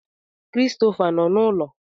Christopher nọ n'ụlọ?